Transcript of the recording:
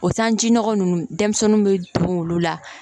O sanji nɔgɔ nunnu denmisɛnninw be don wulu la